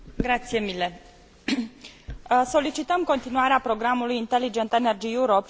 Solicităm continuarea programului Inteligent Energy Europe și în viitoarea perspectivă financiară.